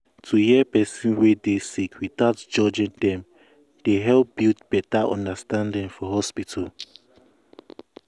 to hear person wey dey sick without without judging dem dey help build beta understanding.